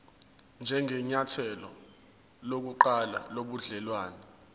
njengenyathelo lokuqala lobudelwane